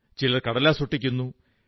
ചിലർ കടലാസ് ഒട്ടിക്കുന്നു